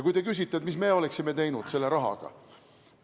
Te küsite, mis meie oleksime teinud selle rahaga.